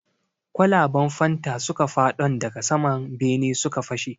Kwalaban fanta suka fadon daga sama bene suka fashe.